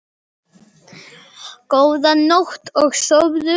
Góða nótt og sofðu rótt.